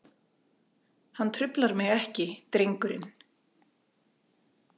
Hann truflar mig ekki drengurinn.